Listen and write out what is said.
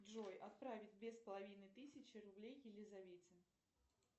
джой отправить две с половиной тысячи рублей елизавете